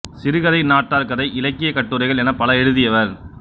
சிறுகதை நாட்டார் கதை இலக்கியக் கட்டுரைகள் எனப் பல எழுதியவர்